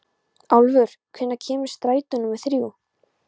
Álfur, hvenær kemur strætó númer þrjú?